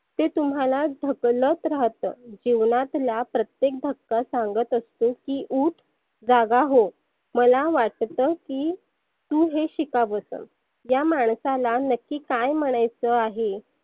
ते तुम्हाला ढकलत राहतं. जिवनातला प्रत्येक धक्का सांगत असतो की उठ जागा हो. मला वाटतं की तु हे शिकावसं या मानसाला नक्की काय म्हणायच आहे?